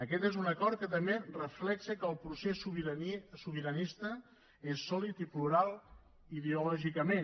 aquest és un acord que també reflecteix que el procés sobiranista és sòlid i plural ideològicament